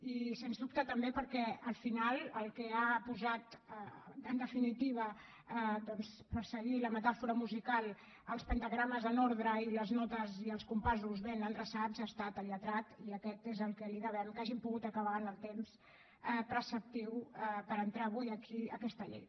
i sens dubte també perquè al final el que ha posat en definitiva per seguir la metàfora musical els pentagrames en ordre i les notes i els compassos ben endreçats ha estat el lletrat i aquest és a qui devem que hàgim pogut acabar en el temps preceptiu per entrar avui aquí aquesta llei